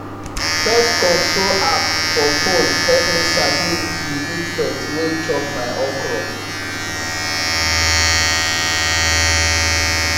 pest control app for phone help me sabi di insect wey chop my okra